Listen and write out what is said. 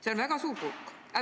See on väga suur hulk.